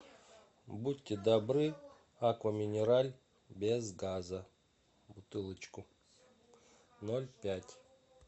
будьте добры аква минерале без газа бутылочку ноль пять